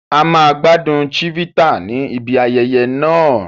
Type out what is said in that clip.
A máa gbádùn Chivita ní ibi ayẹyẹ náà